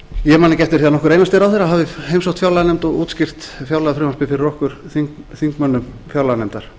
eftir því að nokkur einasti ráðherra hafi heimsótt fjárlaganefnd og útskýrt fjárlagafrumvarpið fyrir okkur þingmönnum fjárlaganefndar